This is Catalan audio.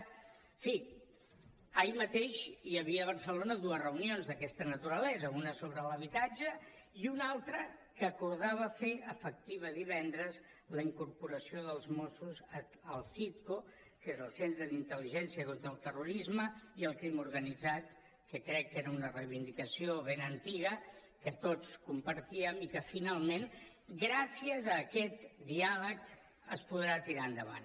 en fi ahir mateix hi havia a barcelona dues reunions d’aquesta naturalesa una sobre l’habitatge i una altra que acordava fer efectiva divendres la incorporació dels mossos al citco que és el centre d’intel·ligència contra el terrorisme i el crim organitzat que crec que era una reivindicació ben antiga que tots compartíem i que finalment gràcies a aquest diàleg es podrà tirar endavant